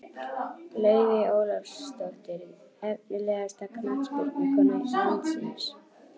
Laufey Ólafsdóttir Efnilegasta knattspyrnukona landsins?